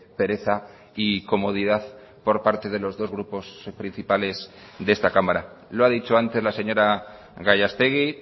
pereza y comodidad por parte de los dos grupos principales de esta cámara lo ha dicho antes la señora gallastegui